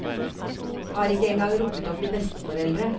Har ikke engang rukket å bli besteforeldre.